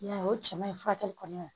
I y'a ye o cɛman in furakɛli kɔni